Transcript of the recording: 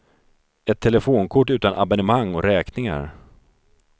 Ett telefonkort utan abonnemang och räkningar.